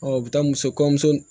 u bɛ taa muso kɔɲɔmuso